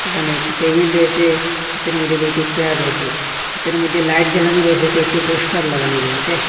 এহানে একটি টেবিল রয়েসে ভিতরের মইধ্যে কয়টি চেয়ার রয়েসে ভিতরের মইধ্যে লাইট জ্বালানো রয়েসে কয়েকটি পোস্টার লাগানো রয়েসে।